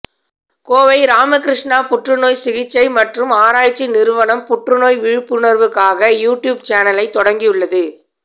கோவை ராமகிருஷ்ணா புற்றுநோய் சிகிச்சை மற்றும் ஆராய்ச்சி நிறுவனம் புற்றுநோய் விழிப்புணர்வுக்காக யுடியூப் சேனலை தொடங்கி உள்ளது